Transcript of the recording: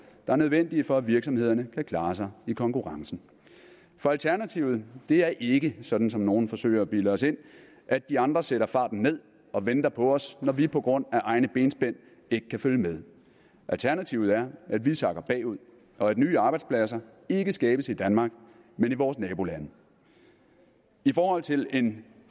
er nødvendige for at virksomhederne kan klare sig i konkurrencen for alternativet er ikke sådan som nogle forsøger at bilde os ind at de andre sætter farten ned og venter på os når vi på grund af egne benspænd ikke kan følge med alternativet er at vi sakker bagud og at nye arbejdspladser ikke skabes i danmark men i vores nabolande i forhold til en